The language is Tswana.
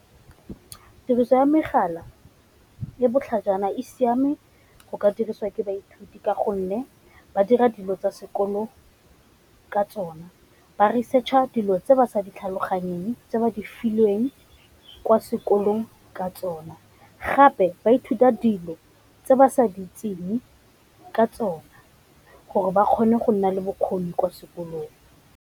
Tiriso ya megala e botlhajana e siame go ka diriswa ke baithuti ka gonne ba dira dilo tsa sekolo ka tsone. Ba research-a dilo tse ba sa di tlhaloganyeng tse ba di filweng kwa sekolong ka tsone, gape ba ithuta dilo tse ba sa di itseng ka tsone gore ba kgone go nna le bokgoni kwa sekolong.